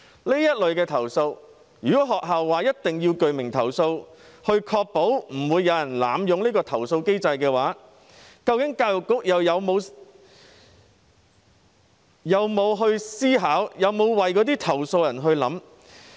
就這類投訴，如果學校要求必須提出具名投訴，確保不會有人濫用投訴機制，教育局究竟又有否思考，有否為投訴人設想？